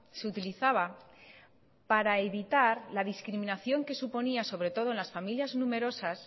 se utilizaba para evitar la discriminación que suponía sobre todo en las familias numerosas